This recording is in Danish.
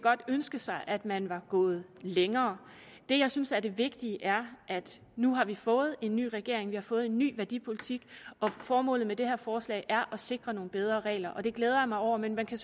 godt ønske sig at man var gået længere det jeg synes er det vigtige er at nu har vi fået en ny regering vi har fået en ny værdipolitik og formålet med det her forslag er at sikre nogle bedre regler det glæder jeg mig over men man kan